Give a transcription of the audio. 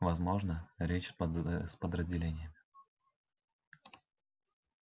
возможно речь с поздравлениями